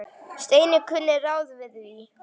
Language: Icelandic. Steini kunni ráð við því.